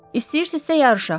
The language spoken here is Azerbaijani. İstəyirsinizsə yarışaq.